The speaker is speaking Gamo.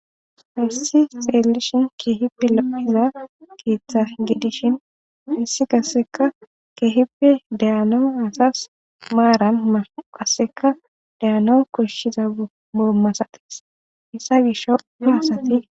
haysi xeellishin keehippe lo'iza keeththa gidishin haysi qasseka keehippe de'anawu asas maaran maaran qasseka de'anawu koshshiza maala masates hayssa gishawu ha asati